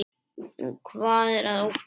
En hvað er að óttast?